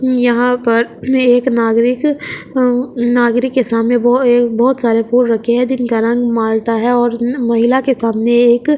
यहां पर एक नागरिक अ नागरिक के सामने वो एक बहोत सारे फूल रखे है जिनका रंग माल्टा है और महिला के सामने एक--